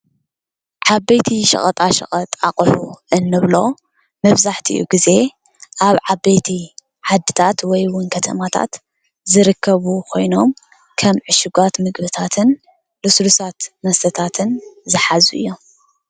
ዓበይቲ ሸቐጣ ሸቀጥ ኣቑሑ እንብሎም መብዛሕቲኡ ግዜ ኣብ ዓበይቲ ዓድታት ወይ እውን ከተማታት ዝርከቡ ኮይኖም ከም ዕሹጋት ምግብታትን ልሱልሳት መስተታትን ዝሓዙ እዮም።